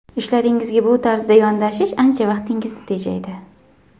Ishlaringizga bu tarzda yondashish ancha vaqtingizni tejaydi.